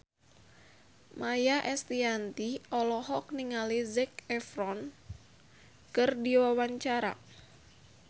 Maia Estianty olohok ningali Zac Efron keur diwawancara